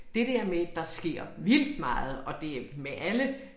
Det der med der sker vildt meget og det med alle